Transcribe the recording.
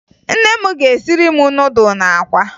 Nne m ga-esiri m nudụ na akwa